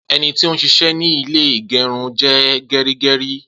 Ení tí o n ṣiṣẹ́ ní ilé ìgérun je gerígerí